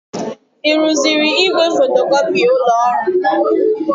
Ị rụziri igwe fotocopi ụlọ ọrụ?